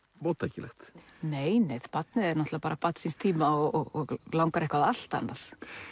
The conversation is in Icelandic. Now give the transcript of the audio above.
móttækilegt nei barnið er náttúrulega bara barn síns tíma og langar eitthvað allt annað